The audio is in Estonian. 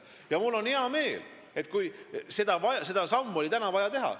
Ja mul on selle üle hea meel, sest see samm oli vaja teha.